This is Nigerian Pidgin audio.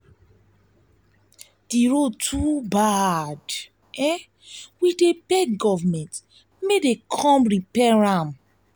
the road too bad we dey we dey beg government make dem repair am.